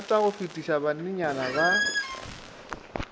nthata go fetiša banenyana ba